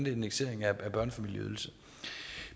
en indeksering af børnefamilieydelsen